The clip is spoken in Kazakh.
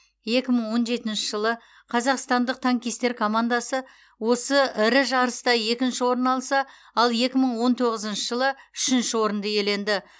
екі мың он жетінші жылы қазақстандық танкистер командасы осы ірі жарыста екінші орын алса ал екі мың он тоғызыншы жылы үшінші орынды иеленді